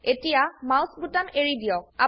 এতিয়া মাউস বোতাম এৰিদিয়ক